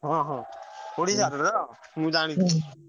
ହଁ ହଁ ଓଡିଶାରେ ତ ମୁଁ ଜାଣିଚି।